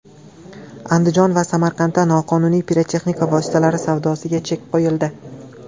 Andijon va Samarqandda noqonuniy pirotexnika vositalari savdosiga chek qo‘yildi.